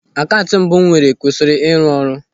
Akaụntụ mbụ m nwere kwụsịrị ịrụ ọrụ.